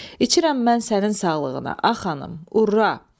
İçirəm mən sənin sağlığına, a xanım, urra!